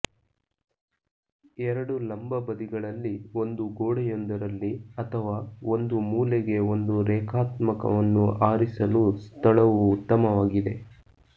ಎರಡು ಲಂಬ ಬದಿಗಳಲ್ಲಿ ಒಂದು ಗೋಡೆಯೊಂದರಲ್ಲಿ ಅಥವಾ ಒಂದು ಮೂಲೆಗೆ ಒಂದು ರೇಖಾತ್ಮಕವನ್ನು ಆರಿಸಲು ಸ್ಥಳವು ಉತ್ತಮವಾಗಿದೆ